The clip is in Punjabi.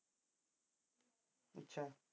ਚੱਲ